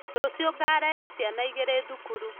Rũcio ngarehe ciana igĩrĩ thukuru